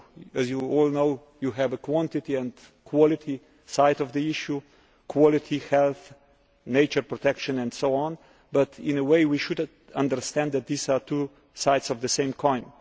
As you all know there is a quantity and quality side to the issue quality, health, nature protection and so on but in a way we should understand that these are two sides of the same coin.